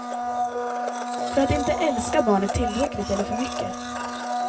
För att inte älska barnet tillräckligt eller för mycket.